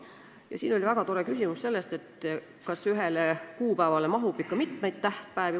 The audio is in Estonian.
Ka kõlas siin väga tore küsimus selle kohta, kas ühele kuupäevale mahub ikka mitu tähtpäeva.